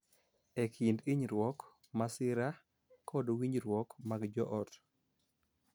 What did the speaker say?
E kind hinyruok, masira, kod winjruok mag joot,